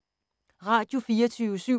Radio24syv